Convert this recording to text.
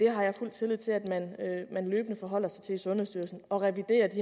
har fuld tillid til at man løbende forholder sig til det i sundhedsstyrelsen og reviderer de